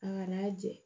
A ŋan'a jɛ